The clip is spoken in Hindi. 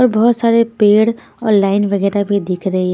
और बहुत सारे पेड़ और लाइन वगैरह भी दिख रहे हैं।